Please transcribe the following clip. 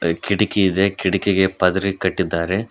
ಕಿಟಕಿ ಇದೆ ಕಿಟಕಿಗೆ ಪದರೇ ಕಟ್ಟಿದ್ದಾರೆ.